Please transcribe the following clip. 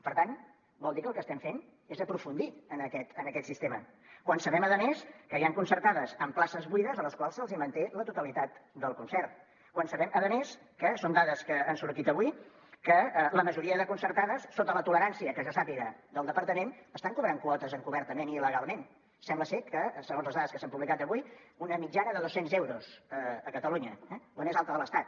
per tant vol dir que el que estem fent és aprofundir en aquest sistema quan sabem a més que hi han concertades amb places buides a les quals se’ls hi manté la totalitat del concert quan sabem a més que són dades que han sortit avui la majoria de concertades sota la tolerància que jo sàpiga del departament estan cobrant quotes encobertament i il·legalment sembla ser que segons les dades que s’han publicat avui una mitjana de dos cents euros a catalunya la més alta de l’estat